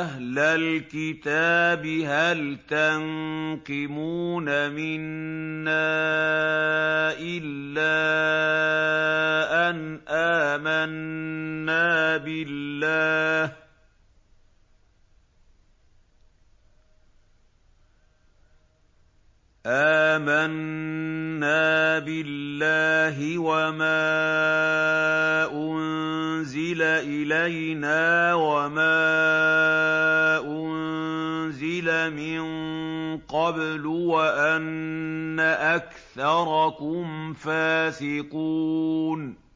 أَهْلَ الْكِتَابِ هَلْ تَنقِمُونَ مِنَّا إِلَّا أَنْ آمَنَّا بِاللَّهِ وَمَا أُنزِلَ إِلَيْنَا وَمَا أُنزِلَ مِن قَبْلُ وَأَنَّ أَكْثَرَكُمْ فَاسِقُونَ